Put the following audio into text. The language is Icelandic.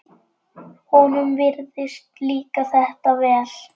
Honum virðist líka þetta vel.